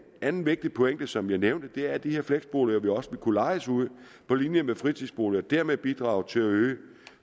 anden vigtig pointe som jeg nævnte er at de her fleksboliger også vil kunne lejes ud på linje med fritidsboliger og dermed bidrage til at øge